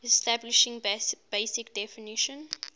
establishing basic definition